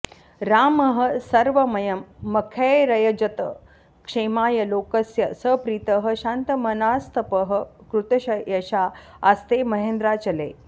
रामः सर्वमयं मखैरयजत क्षेमाय लोकस्य स प्रीतः शान्तमनास्तपः कृतयशा आस्ते महेन्द्राचले